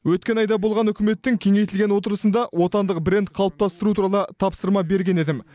өткен айда болған үкіметтің кеңейтілген отырысында отандық бренд қалыптастыру туралы тапсырма берген едім